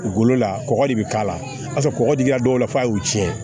Golo la kɔgɔ de bɛ k'a la o y'a sɔrɔ kɔgɔ dili a dɔw la f'a y'u tiɲɛ